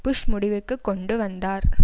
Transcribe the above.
push முடிவுக்கு கொண்டு வந்தார்